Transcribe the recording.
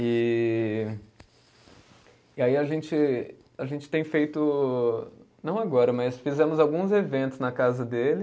E e aí a gente, a gente tem feito, não agora, mas fizemos alguns eventos na casa dele.